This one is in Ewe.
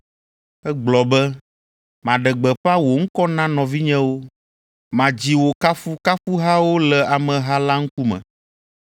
Egblɔ be, “Maɖe gbeƒã wò ŋkɔ na nɔvinyewo, madzi wò kafukafuhawo le ameha la ŋkume.”